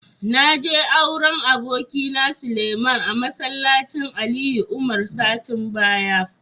Na je auren abokina, Suleiman a masallacin Ali Umar satin baya.